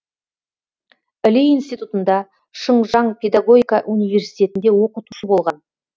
іле институтында шыңжаң педагогика университетінде оқытушы болған